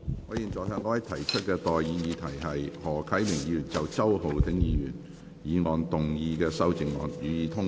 我現在向各位提出的待議議題是：何啟明議員就周浩鼎議員議案動議的修正案，予以通過。